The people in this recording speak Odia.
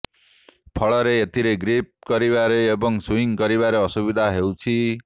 ଫଳରେ ଏଥିରେ ଗ୍ରୀପ୍ କରିବାରେ ଏବଂ ସୁଇଂ କରିବାରେ ଅସୁବିଧା ହେଉଛି